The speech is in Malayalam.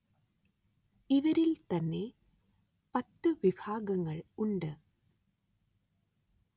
ഇവരില്‍ തന്നെ പത്തു വിഭാഗങ്ങള്‍ ഉണ്ട്